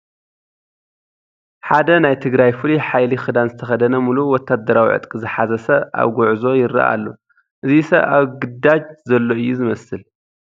ሓደ ናይ ትግራይ ፍሉይ ሓይሊ ክዳን ዝተኸደነ ሙሉእ ወታደራዊ ዕጥቂ ዝሓዘ ሰብ ኣብ ጉዕሾ ይርአ ኣሎ፡፡ እዚ ሰብ ኣብ ግዳጅ ዘሎ እዩ ዝመስል፡፡